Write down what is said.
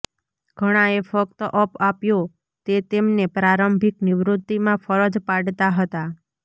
ઘણાએ ફક્ત અપ આપ્યો તે તેમને પ્રારંભિક નિવૃત્તિમાં ફરજ પાડતા હતા